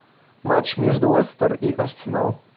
матч между лестер и арсенал